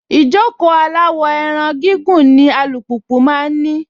Ìjókòó aláwọ̀-ẹran gígùn ni alùpùpù máa ń ní.